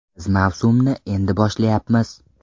Biz mavsumni endi boshlayapmiz.